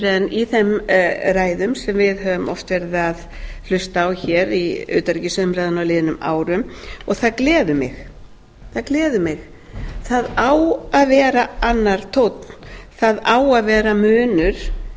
en í þeim ræðum sem við höfum oft verið að hlusta á hér í utanríkisumræðum á liðnum árum og það gleður mig það á að vera annar tónn það á að vera munur